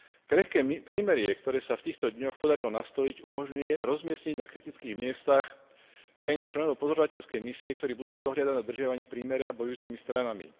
Krehké prímerie, ktoré sa v týchto dňoch podarilo nastoliť, umožňuje rozmiestniť na kritických miestach krajiny členov pozorovateľskej misie, ktorí budú dohliadať na dodržiavanie prímeria bojujúcimi stranami.